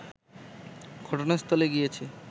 ঘটনাস্থলে গিয়েছে